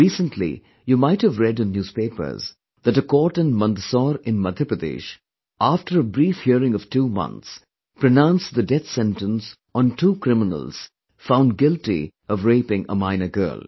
Recently, you might have read in newspapers, that a court in Mandsaur in Madhya Pradesh, after a brief hearing of two months, pronounced the death sentence on two criminals found guilty of raping a minor girl